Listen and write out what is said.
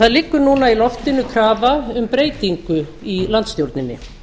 það liggur núna í loftinu krafa um breytingu í landsstjórninni